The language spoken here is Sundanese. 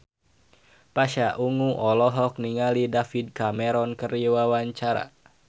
Pasha Ungu olohok ningali David Cameron keur diwawancara